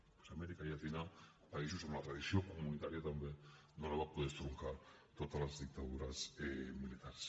doncs amèrica llatina països on la tradició comunitària també no la van poder estroncar totes les dictadures militars